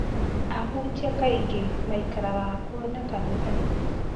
Ahunjia kaingĩ maikaraga hakuhĩ na kanitha